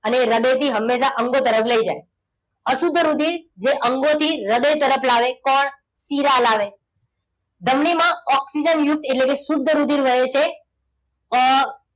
અને હૃદયથી હંમેશા અંગો તરફ લઈ જાય. અશુદ્ધ રુધિર જે અંગોથી હૃદય તરફ લાવે. કોણ? શિરા લાવે. ધમનીમાં ઓક્સિજનયુક્ત એટલે કે શુદ્ધ રુધિર વહે છે. અમ